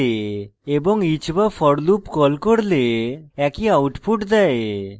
এবং each বা for call করলে একই output দেয়